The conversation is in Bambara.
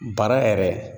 Bana yɛrɛ